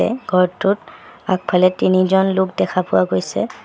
ঘৰটোত আগফালে তিনিজন লোক দেখা পোৱা গৈছে।